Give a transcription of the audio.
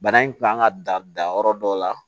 Bana in kun kan ka dan yɔrɔ dɔ la